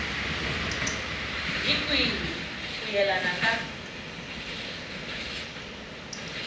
hi kwihi ku yelana ka